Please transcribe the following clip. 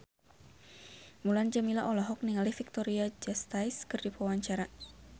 Mulan Jameela olohok ningali Victoria Justice keur diwawancara